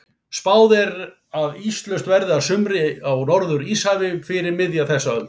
Spáð er að íslaust verði að sumri á Norður-Íshafi fyrir miðja þessa öld.